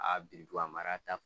A biriduga mara ta